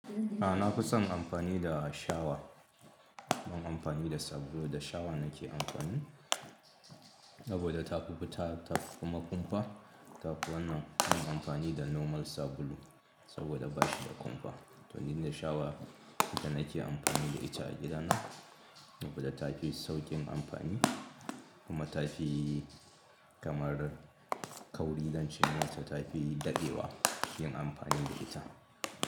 A na fi son amfani da shawa. Ban amfani da sabulu da shawa nake amfani saboda ta fi fita, tafi kuma kumfa. Ta fi wannan mun amfani da normal sabulu saboda bashi da kumfa. To inda shawa ita nake amfani da ita a gida na saboda tafi su sauƙin amfani kuma tafi kamar kauri zance nata tafi daɗewa yin amfani da ita.